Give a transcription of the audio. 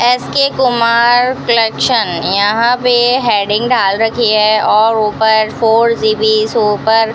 S K Kumar collection यहां पे heading डाल रखी है और ऊपर फोर जी_बी शॉपर --